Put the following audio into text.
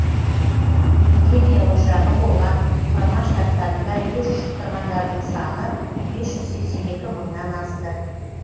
эпидемия ошағы болған құрама штаттарында вирус жұқтырғандардың саны бес жүз сексен екі мыңнан асты